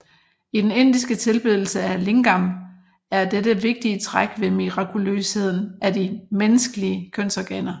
I den indiske tilbedelse af lingam er dette vigtige træk ved mirakuløsheden af de menneskelige kønsorganer